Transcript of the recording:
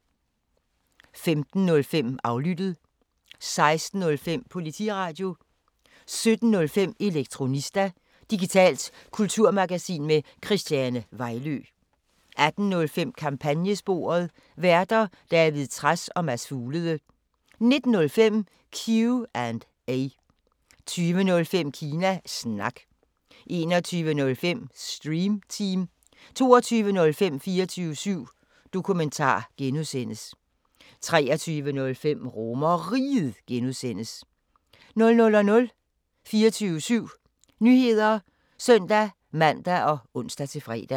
15:05: Aflyttet 16:05: Politiradio 17:05: Elektronista – digitalt kulturmagasin med Christiane Vejlø 18:05: Kampagnesporet: Værter: David Trads og Mads Fuglede 19:05: Q&A 20:05: Kina Snak 21:05: Stream Team 22:05: 24syv Dokumentar (G) 23:05: RomerRiget (G) 00:00: 24syv Nyheder (søn-man og ons-fre)